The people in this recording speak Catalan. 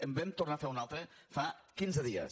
en vam tornar a fer una altra fa quinze dies